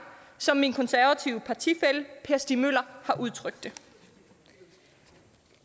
som min konservative partifælle per stig møller har udtrykt det